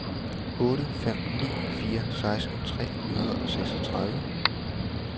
otte fem ni fire seksten tre hundrede og seksogtredive